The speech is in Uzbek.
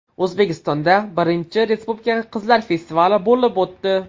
O‘zbekistonda I Respublika qizlar festivali bo‘lib o‘tdi.